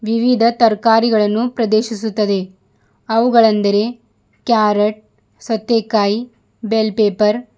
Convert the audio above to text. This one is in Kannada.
ವಿವಿಧ ತರ್ಕಾರಿಗಳನ್ನು ಪ್ರದೇಶಿಸುತ್ತದೆ ಅವುಗಳೆಂದರೆ ಕ್ಯಾರಟ್ ಸೌಥೆಕಾಯಿ ಬೆಲ್ ಪೆಪ್ಪರ್ --